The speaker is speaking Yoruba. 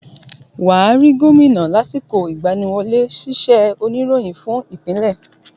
wà á rí Gómìnà lásìkò ìgbaniwọlé sísẹ̀ oníròyìn fún ìpínlẹ̀.